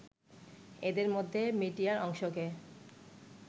এদের মধ্যে মিডিয়ার অংশকে